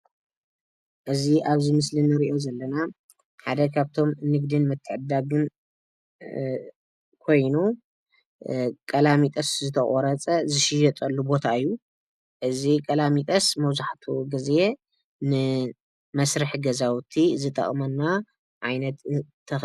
እዚ ኣብዚ ምስሊ እንሪኦ ዘለና ሓደ ካብቶም ንግድን ምትዕድዳግን ኮይኑ ቀላሚጦስ ዝተቖረፀ ዝሽየጠሉ ቦታ እዩ፡፡ እዚ ቀላሚጦስ መብዛሕትኡ ጊዜ ንመስርሒ ገዛውቲ ዝጠቕመና ዓይነት ተኽሊ እዩ፡፡